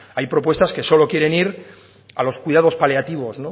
hay propuestas que solo quieren ir a los cuidados paliativos